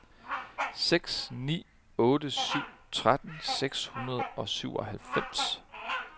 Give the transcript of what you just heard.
seks ni otte syv tretten seks hundrede og syvoghalvfems